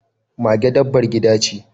Mage dabbar gida ce.